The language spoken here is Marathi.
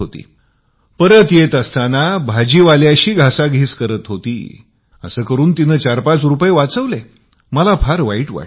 तसेच मॉलमधून परत येत असताना भाजीवाल्याशी भाव करत होती अस करून 45 रुपये तिने वाचवले मला फार वाईट वाटले